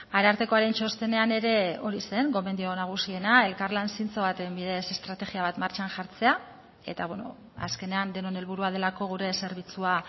arartekoaren txostenean ere hori zen gomendio nagusiena elkarlan zintzo baten bidez estrategia bat martxan jartzea eta azkenean denon helburua delako gure zerbitzua